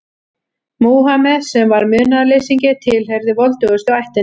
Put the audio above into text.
Múhameð, sem var munaðarleysingi, tilheyrði voldugustu ættinni.